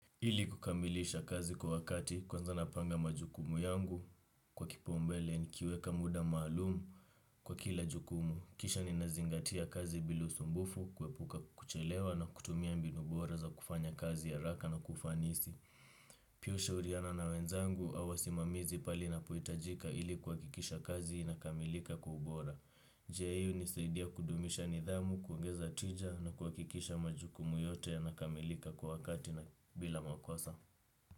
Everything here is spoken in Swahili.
Ili kukamilisha kazi kwa wakati, kwanza napanga majukumu yangu kwa kipaumbele nikiweka muda maalum kwa kila jukumu. Kisha ninazingatia kazi bila usumbufu, kuepuka kuchelewa na kutumia mbinu bora za kufanya kazi haraka na kufanisi. Pia hushauriana na wenzangu, au wasimamizi pale inapohitajika ili kuhakikisha kazi inakamilika kwa ubora. Njia hiyo hunisaidia kudumisha nidhamu, kuongeza tija na kuhakikisha majukumu yote yanakamilika kwa wakati na bila makosa.